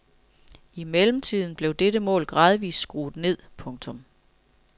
I mellemtiden blev dette mål gradvist skruet ned. punktum